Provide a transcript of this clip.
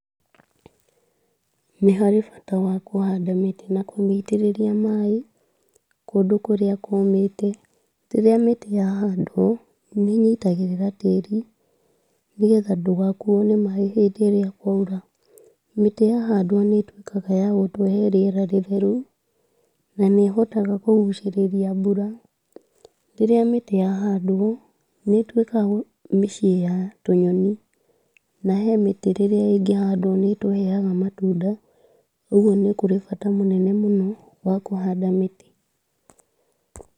Nĩ harĩ bata wa kũhanda mĩtĩ na kũmĩitĩrĩria maĩ kũndũ kũrĩa kũmĩte. Rĩrĩa mĩtĩ ya handwo nĩnyitagĩrira tĩri, nĩgetha ndũgakũo nĩ maĩ hĩndĩ ĩrĩa kwaura, mĩtĩ ya handwo nĩtuĩkaga ya gũtũhe rĩera rĩtheru na nĩhotaga kũgucĩrĩria mbura. Rĩrĩa mĩtĩ ya handwo nĩtuĩkaga mĩciĩ ya tũnyoni na he mĩtĩ rĩrĩa ĩngĩhandwo nĩtũheaga matunda, ũgũo nĩ kũrĩ bata mũnene mũno wa kũhanda mĩtĩ.